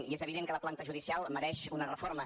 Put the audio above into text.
i és evident que la planta judicial mereix una reforma